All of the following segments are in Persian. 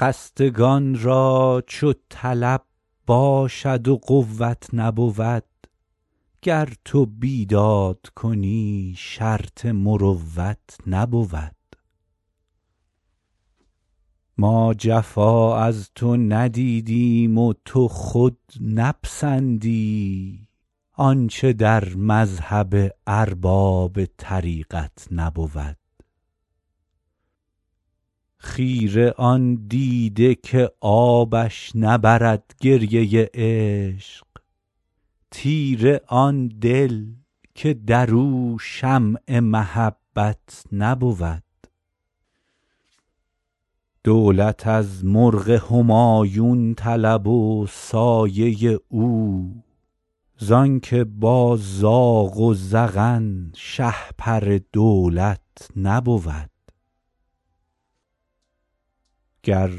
خستگان را چو طلب باشد و قوت نبود گر تو بیداد کنی شرط مروت نبود ما جفا از تو ندیدیم و تو خود نپسندی آنچه در مذهب ارباب طریقت نبود خیره آن دیده که آبش نبرد گریه عشق تیره آن دل که در او شمع محبت نبود دولت از مرغ همایون طلب و سایه او زان که با زاغ و زغن شهپر دولت نبود گر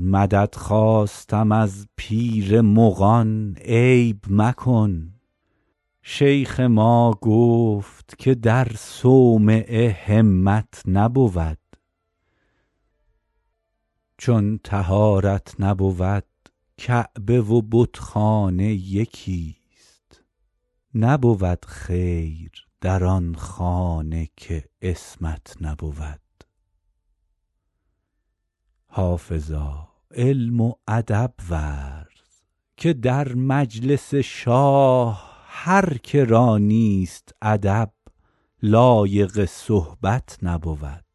مدد خواستم از پیر مغان عیب مکن شیخ ما گفت که در صومعه همت نبود چون طهارت نبود کعبه و بتخانه یکیست نبود خیر در آن خانه که عصمت نبود حافظا علم و ادب ورز که در مجلس شاه هر که را نیست ادب لایق صحبت نبود